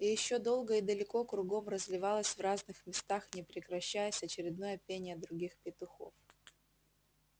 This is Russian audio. и ещё долго и далеко кругом разливалось в разных местах не прекращаясь очередное пение других петухов